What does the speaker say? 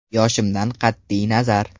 Yoshimdan qat’iy nazar.